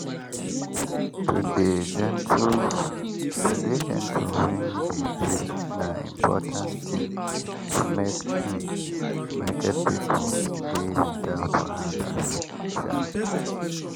to dey gentle when you dey greet na important tin to make um market people dey without wahala um